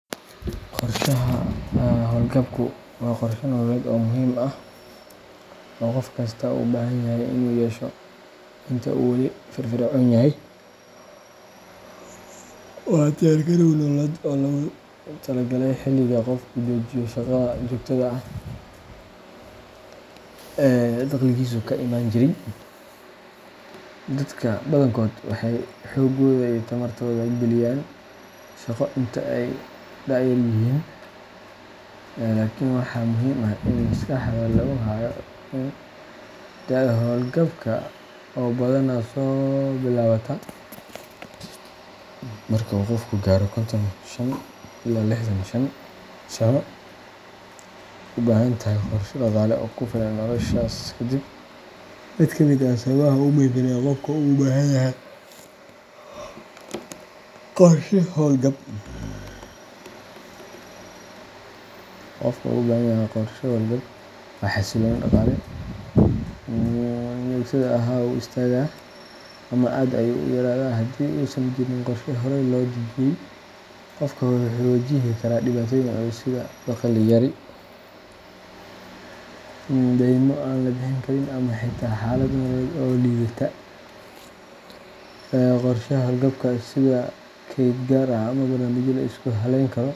Qorshaha hawlgabku waa qorshe nololeed oo muhiim ah oo qof kasta u baahan yahay in uu yeesho inta uu wali firfircoon yahay. Waa diyaar-garow nololeed oo loogu talagalay xilliga qofku joojiyo shaqada joogtada ah ee dakhligiisu ka iman jiray. Dadka badankood waxay xooggooda iyo tamartooda geliyaan shaqo inta ay da’yar yihiin, laakiin waxaa muhiim ah in maskaxda lagu hayo in da’da hawlgabka oo badanaa soo bilaabata marka uu qofku gaaro konton shan ilaa lixdan shan sano ay u baahan tahay qorshe dhaqaale oo ku filan noloshaas ka dib. Mid ka mid ah sababaha ugu muhiimsan ee qofku ugu baahan yahay qorshe hawlgab waa xasilooni dhaqaale. Marka qofku hawlgabo, dakhligiisii joogtada ahaa wuu istaagaa ama aad ayuu u yaraadaa. Haddii uusan jirin qorshe horay loo dejiyay, qofku wuxuu wajihi karaa dhibaatooyin culus sida dakhli yari, daymo aan la bixin karin, ama xitaa xaalad nololeed oo liidata. Qorshaha hawlgabka, sida kayd gaar ah ama barnaamijyo la isku halleyn karo.